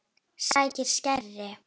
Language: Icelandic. Sækir skæri.